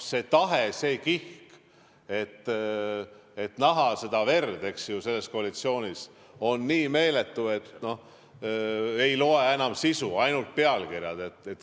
See tahe, see kihk näha verd selles koalitsioonis, on nii meeletu, et ei loe enam sisu, ainult pealkirjad.